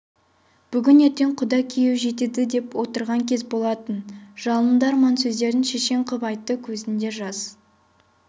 бүгін-ертең құда күйеу жетеді деп отырған кез болатын жалынды арманды сөздерін шешен қып айтты көзінде жас